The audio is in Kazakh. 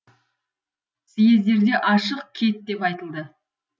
съездерде ашық кет деп айтылды